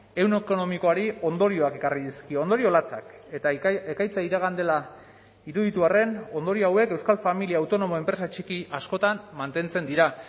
ehun ekonomikoari ondorioak ekarri dizkio ondorio latzak eta ekaitza iragan dela iruditu arren ondorio hauek euskal familia autonomo enpresa txiki askotan mantentzen dira